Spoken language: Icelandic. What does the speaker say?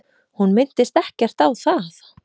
Hún minntist ekkert á það.